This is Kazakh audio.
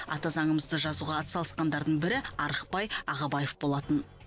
ата заңымызды жазуға атсалысқандардың бірі арықбай ағыбаев болатын